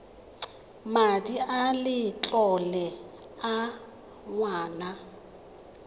madi a letlole a ngwana